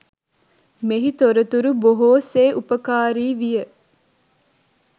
මෙහි තොරතුරු බොහො සේ උපකාරි විය.